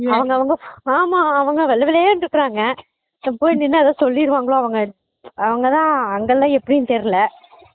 அவங்கவங்க ஆமா அவங்க வெள்ளவேல்லேர்னு இருக்காங்க போய் நின்னா எதாவது சொல்லிருவாங்களோ அவங்க தான் அங்கலாம் எப்படினு தெறியல